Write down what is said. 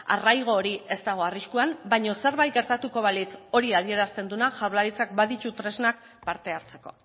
arraigo hori ez dago arriskuan baino zerbait gertatuko balitz hori adierazten duena jaurlaritzak baditu tresnak parte hartzeko